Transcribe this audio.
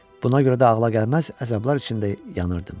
Buna görə də ağla gəlməz əzablar içində yanırdım.